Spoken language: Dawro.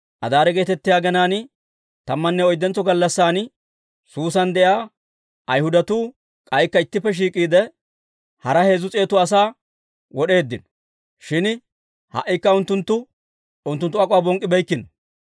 Adaare geetettiyaa aginaan tammanne oyddentso gallassan, Suusa de'iyaa Ayhudatuu k'aykka ittippe shiik'iide, hara heezzu s'eetu asaa wod'eeddino; shin ha"ikka unttunttu unttunttu ak'uwaa bonk'k'ibeykkino.